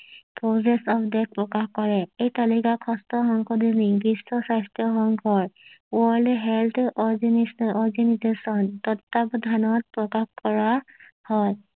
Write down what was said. প্ৰকাশ কৰে এই তালিকা বিশ্ব স্বাস্থ্য সংঘয় ৱৰ্ল্ড হেল্থ অৰ্গানিজেশ্যন তত্ত্ব বধানত প্ৰকাশ কৰা হয়